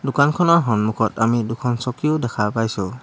দোকানখনৰ সন্মুখত আমি দুখন চকীও দেখা পাইছোঁ।